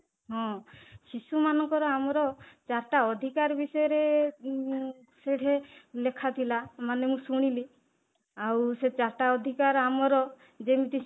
ହଁ, ଶିଶୁ ମାନଙ୍କର ଆମର ଚାରିଟା ଅଧିକାର ବିଷୟରେ ଉମ ସେଠି ଲେଖାଥିଲା ମାନେ ମୁଁ ଶୁଣିଲି ଆଉ ସେ ଚାରିଟା ଅଧିକାର ଆମର ଯେମିତି